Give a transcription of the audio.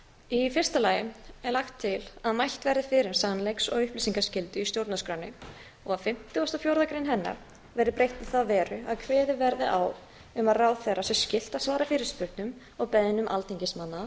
í fyrsta lagi er lagt til að mælt verði fyrir um sannleiks og upplýsingaskyldu í stjórnarskránni og að fimmtugasta og fjórða grein hennar verði breytt í þá veru að kveðið verði á um að ráðherra sé skylt að svara fyrirspurnum og beiðnum alþingismanna